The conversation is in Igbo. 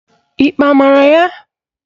Ikpe a mara ya?